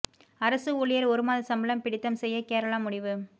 அரசு ஊழியர் ஒரு மாத சம்பளம் பிடித்தம் செய்ய கேரளா முடிவு